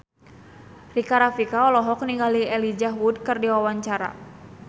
Rika Rafika olohok ningali Elijah Wood keur diwawancara